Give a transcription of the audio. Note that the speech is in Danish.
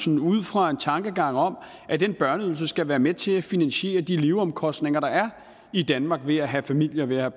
ud fra en tanke om at den børneydelse skal være med til at finansiere de leveomkostninger der er i danmark ved at have familie og